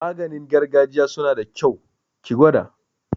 Maganin gargajiya suna da kyau, ki gwada